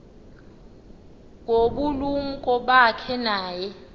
ngobulumko bakhe naye